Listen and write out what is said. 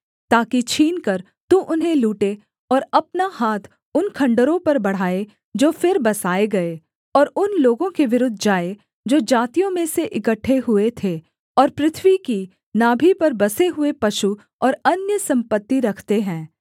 ताकि छीनकर तू उन्हें लूटे और अपना हाथ उन खण्डहरों पर बढ़ाए जो फिर बसाए गए और उन लोगों के विरुद्ध जाए जो जातियों में से इकट्ठे हुए थे और पृथ्वी की नाभि पर बसे हुए पशु और अन्य सम्पत्ति रखते हैं